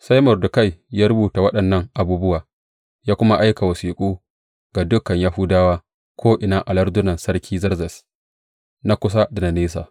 Sai Mordekai ya rubuta waɗannan abubuwa, ya kuma aika wasiƙu ga dukan Yahudawa ko’ina a lardunan Sarki Zerzes, na kusa da na nesa.